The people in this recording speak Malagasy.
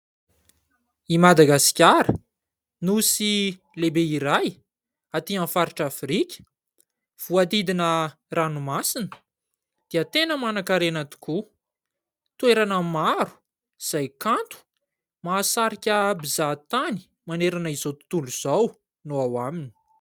I Madagasikara, nosy lehibe iray aty amin'ny faritra Afrika voadidina ranomasina dia tena manan-karena tokoa. Toerana maro, izay kanto mahasarika mpizaha tany manerana izao tontolo izao no ao aminy.